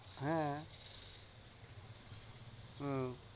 হ্যাঁ উম